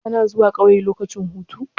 Kana zuwa ƙauye lokacin hutu?